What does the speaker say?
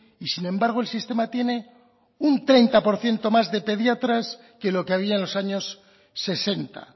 y sin embargo el sistema tiene un treinta por ciento más de pediatras que lo que había en los años sesenta